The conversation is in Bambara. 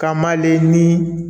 K'a man ale ni